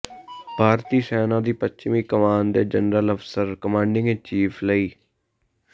ਭਾਰਤੀ ਸੈਨਾ ਦੀ ਪੱਛਮੀ ਕਮਾਨ ਦੇ general officer commanding in chief ਲੈ